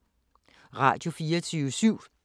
Radio24syv